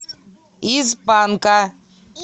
из панка